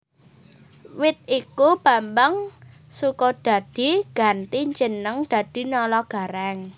Wit iku Bambang Sukodadi ganti jeneng dadi Nala Garèng